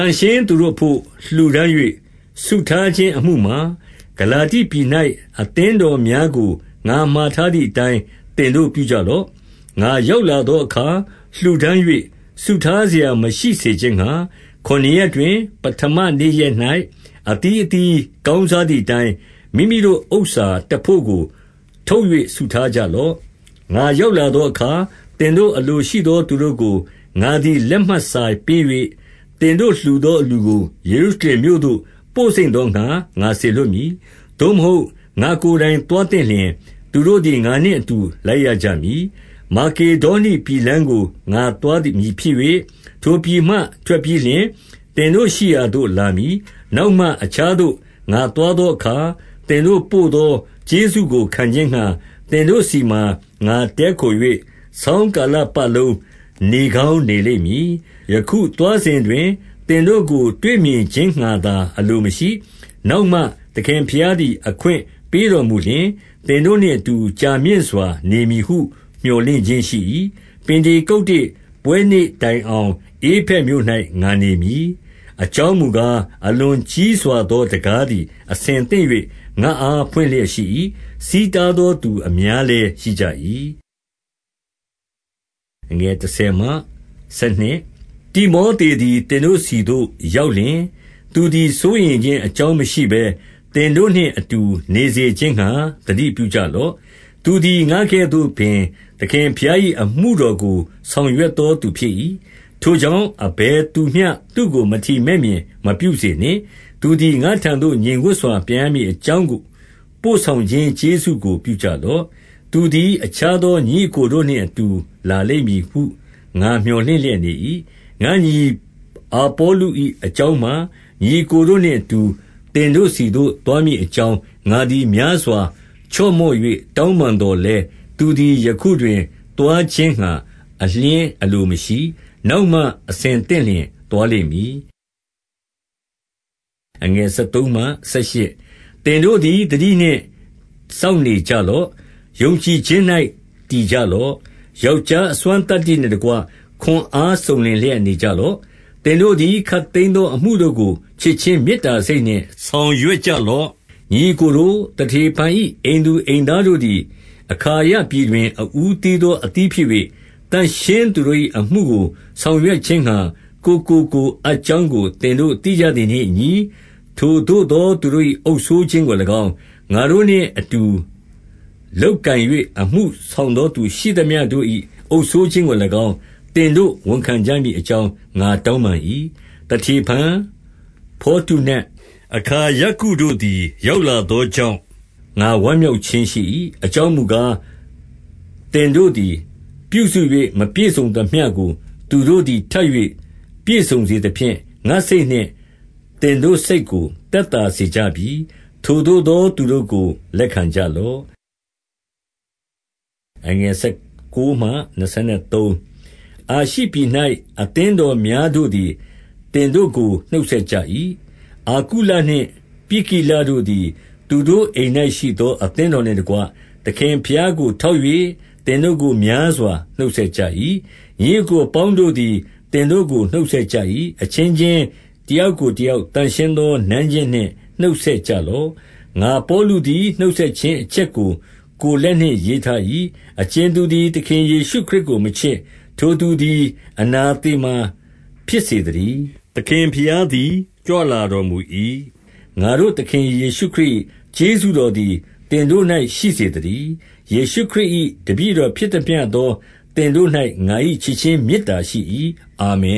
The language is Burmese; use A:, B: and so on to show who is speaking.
A: န့်ရှင်းသူတို့အဘို့ လှူဒါန်း၍ စုထားခြင်းအမှုမှာ ဂလာတိပြည်၌ အသင်းတော်များကို ငါမှာထားသည်အတိုင်း သင်တို့ပြုကြလော့။ 2 ငါရောက်လာသောအခါ လှူဒါန်း၍ စုထားစရာ မရှိစေခြင်းငှါ၊ ခုနစ်ရက်တွင် ပဌမနေ့ရက်၌ အသီးအသီး ကောင်းစားသည်အတိုင်း၊ မိမိတို့ဥစ္စာတဘို့ကို ထုတ်၍ စုထားကြလော့။ 3 ငါရောက်လာသောအခါ၊ သင်တို့အလိုရှိသော သူတို့ကို ငါသည် လက်မှတ်စာပေး၍၊ သင်တို့လှူသော အလှူကို ယေရုရှလင်မြို့သို့ ပို့စိမ့်သောငှါ စေလွှတ်မည်။ 4 သို့မဟုတ် ငါ့ကိုယ်တိုင်သွားသင့်လျှင်၊ သူတို့သည် ငါနှင့်အတူ လိုက်ရကြမည်။ 5 မာကေဒေါနိပြည်လမ်းကိုငါသွားမည်ဖြစ်၍၊ ထိုပြည်မှ ထွက်ပြီးလျှင် သင်တို့ရှိရာသို့လာမည်။ 6 နောက်မှအခြားသို့ ငါသွားသောအခါ၊ သင်တို့ ပို့သောကျေးဇူးကို ခံခြင်းငှါ၊ သင်တို့ဆီမှာ ငါတည်းခို၍ ဆောင်းကာလပတ်လုံး နေကောင်းနေလိမ့်မည်။ 7 ယခုသွားစဉ်တွင် သင်တို့ကို တွေ့မြင်ခြင်းငှါသာ အလိုမရှိ၊ နောက်မှသခင်ဘုရားသည် အခွင့်ပေးတော်မူလျှင်၊ သင်တို့နှင့်အတူ ကြာမြင့်စွာနေမည်ဟု မြော်လင့် ခြင်း ရှိ၏။ 8 ပင်တေကုတ္တေ ပွဲနေ့တိုင်အောင် ဧဖက်မြို့၌ ငါနေရမည်။ 9 အကြောင်းမူကား၊ အလွန်ကြီးစွာသော တံခါးသည် အဆင်သင့်၍ ငါ့အားဖွင့်လျက်ရှိ၏။ ဆီးတားသော သူအများလည်း ရှိကြ၏။ 10 တိမောသေသည် သင်တို့ဆီသို့ ရောက်လျှင်၊ သူသည်စိုးရိမ်ခြင်း အကြောင်းမရှိဘဲ၊ သင်တို့နှင့်အတူ နေစေခြင်းငှါ သတိပြုကြလော့။ သူသည်ငါကဲ့သို့ပင် သခင်ဘုရား၏အမှုတော်ကိုဆောင်ရွက်သောသူ ဖြစ်၏။ 11 ထိုကြောင့် အဘယ်သူမျှသူ့ကို မထီမဲ့မြင်မပြုစေနှင့်။ သူသည် ငါ့ထံသို့ငြိမ်ဝပ်စွာ ပြန်ရမည် အကြောင်းပို့ဆောင်ခြင်း ကျေးဇူးကို ပြုကြလော့။ သူသည် အခြားသော ညီအစ်ကိုတို့နှင့်အတူ လာလိမ့်မည်ဟု ငါမြော်လင့်လျက်နေ၏။ 12 ငါ့ညီအာပေါလု၏ အကြောင်းမှာ၊ ညီအစ်ကိုတို့ နှင့်အတူ သင်တို့ ဆီသို့သွားမည်အကြောင်း ငါသည် များစွာ ချော့မော့၍ တောင်းပန်သော်လည်း၊ သူသည် ယခုတွင်သွားခြင်းငှါ အလျှင်းအလိုမရှိ၊ နောက်မှ အဆင်သင့်လျှင်သွားလိမ့်မည်။ 13 သင်တို့သည် သတိနှင့်စောင့်နေကြလော့။ ယုံကြည်ခြင်း၌ တည်ကြလော့။ ယောက်ျား အစွမ်းသတ္တိ နှင့်တကွ ခွန်အားစုံလင်လျက်နေကြလော့။ 14 သင်တို့သည် ခပ်သိမ်းသော အမှုတို့ကို ချစ်ခြင်း မေတ္တာစိတ်နှင့် ဆောင်ရွက်ကြလော့။ 15 ညီအစ်ကိုတို့၊ သတေဖန်၏အိမ်သူအိမ်သား တို့သည် အခါယပြည်တွင်အဦးသီးသော အသီးဖြစ်၍၊ သန့်ရှင်းသူတို့၏အမှုကို ဆောင်ရွက်ခြင်းငှါ ကိုယ်ကိုကိုယ် အပ်ကြောင်းကို သင်တို့ သိကြသည်နှင့်အညီ၊ 16 ထိုသို့သော သူတို့၏ အုပ်စိုးခြင်းကို၎င်း၊ ငါတို့နှင့် အတူလုပ်ကိုင်၍ အမှုဆောင်သောသူရှိသမျှတို့၏ အုပ်စိုးခြင်းကို၎င်း၊ သင်တို့ဝန်ခံကြမည်အကြောင်း ငါ တောင်းပန်၏။ 17 သတေဖန်၊ ဖော်တုနတ်၊ အခါယကုတို့သည် ရောက်လာသောကြောင့် ငါဝမ်းမြောက်ခြင်းရှိ၏။ 18 အကြောင်းမူကား၊ သင်တို့သည် ပြုစု၍မပြည့်စုံသမျှကို သူတို့သည် ထပ်၍ပြည့်စုံသဖြင့်၊ ငါ့စိတ်နှင့် သင်တို့စိတ်ကို သက်သာစေကြပြီ။ ထိုသို့သော သူတို့ကို လက်ခံကြလော့။ 19 အာရှိပြည်၌ အသင်းတော်များတို့သည် သင်တို့ကို နှုတ်ဆက်ကြ၏။ အာကုလနှင့်ပြစ်ကိလတို့သည် သူတို့ အိမ်၌ရှိသော အသင်းတော်နှင့်တကွ၊ သခင်ဘုရားကို ထောက်၍ သင်တို့ကို များစွာနှုတ်ဆက်ကြ၏။ 20 ညီအစ်ကိုအပေါင်းတို့သည် သင်တို့ကို နှုတ်ဆက်ကြ၏။ အချင်းချင်းတယောက်ကိုတယောက် သန့်ရှင်း သော နမ်းခြင်းနှင့် နှုတ်ဆက်ကြလော့။ 21 ငါပေါလုသည် နှုတ်ဆက်ခြင်းအချက်ကို ကိုယ်လက်နှင့် ရေးထား၏။ 22 အကြင်သူသည် သခင်ယေရှုခရစ်ကို မချစ်၊ ထိုသူသည် အနသေမာဖြစ်စေသတည်း။ သခင်ဘုရား သည် ကြွလာတော်မူ၏။ 23 ငါတို့သခင်ယေရှုခရစ်၏ကျေးဇူးတော်သည် သင်တို့၌ရှိစေသတည်း။ ယေရှုခရစ်၏ တပည့်တော်ဖြစ် သမျှသော သင်တို့၌ ငါ၏ချစ် ခြင်းမေတ္တာရှိ၏။ အာမင